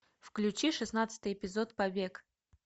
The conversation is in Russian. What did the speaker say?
включи шестнадцатый эпизод побег